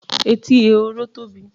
Etí ehoro tóbi.